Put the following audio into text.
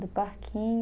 Do parquinho.